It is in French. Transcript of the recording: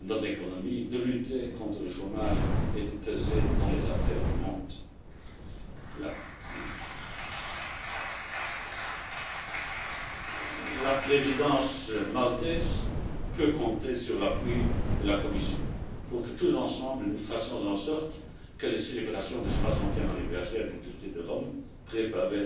notre économie, de lutter contre le chômage et de peser dans les affaires du monde. La présidence maltaise peut compter sur l'appui de la Commission pour que, tous ensemble, nous fassions en sorte que les célébrations du 60e anniversaire du traité de Rome, préparées